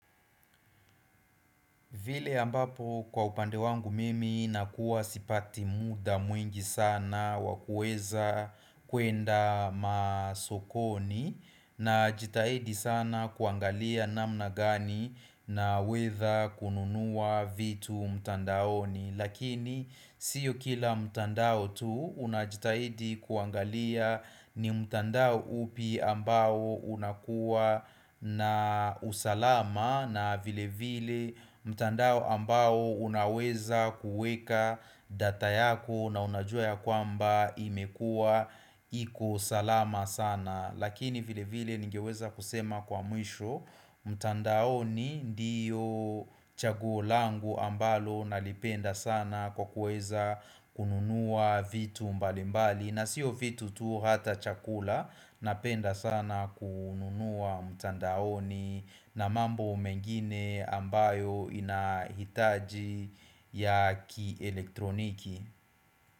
Vile ambapo kwa upande wangu mimi na kuwa sipati muda mwingi sana wakuweza kwenda masokoni najitahidi sana kuangalia namna gani naweza kununua vitu mtandaoni. Lakini sio kila mtandao tu unajitahidi kuangalia ni mtandao upi ambao unakuwa na usalama na vile vile mtandao ambao unaweza kuweka data yako na unajua ya kwamba imekua iko salama sana. Lakini vile vile ningeweza kusema kwa mwisho, mtandaoni ndiyo chaguo langu ambalo nalipenda sana kwa kueza kununua vitu mbali mbali. Na sio vitu tu hata chakula, napenda sana kununua mtandaoni na mambo mengine ambayo inahitaji ya kielektroniki.